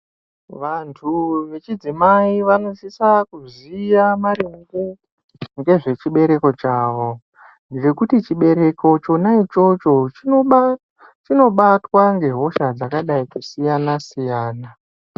Vantu vechidzimai vanosisa kuziya maringe ngezvechibereko chavo. Ngekuti chibereko chona ichocho chinobatwa ngehosha dzakadai kusiyana-siyana.